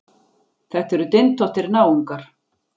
Þetta eru dyntóttir náungar.